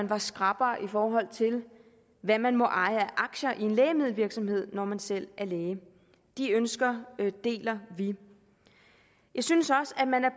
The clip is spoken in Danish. var skrappere i forhold til hvad man må eje af aktier i en lægemiddelvirksomhed når man selv er læge de ønsker deler vi jeg synes også at man er